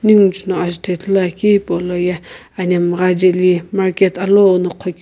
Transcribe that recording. nigho no azuto hipolono ithulu akeu anemgha jaeli market alu no gho keu --